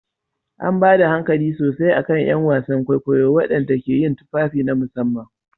An ba da hankali sosai a kan 'yan wasan kwaikwayo waɗanda ke yin tufafi na musamman.